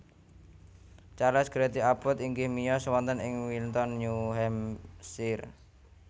Charles Greely Abbot inggih miyos wonten ing Wilton New Hampshire